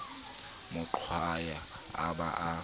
mo qwaya a ba a